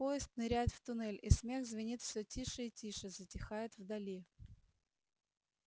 поезд ныряет в туннель и смех звенит всё тише и тише затихает вдали